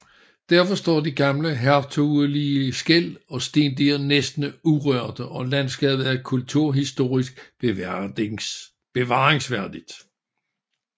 Derfor står de gamle hertugelige skel og stendiger næsten urørte og landskabet er kulturhistorisk bevaringsværdigt